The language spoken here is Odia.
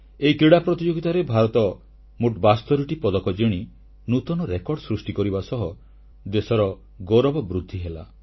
ଏହି କ୍ରୀଡ଼ା ପ୍ରତିଯୋଗିତାରେ ଭାରତ ମୋଟ 72ଟି ପଦକ ଜିଣି ନୂତନ ରେକର୍ଡ ସୃଷ୍ଟି କରିବା ସହ ଦେଶର ଗୌରବ ବୃଦ୍ଧି ହେଲା